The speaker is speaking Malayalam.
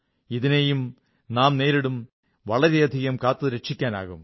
ഇതിനെയും നാം നേരിടും വളരെയധികം കാത്തുരക്ഷിക്കാനാകും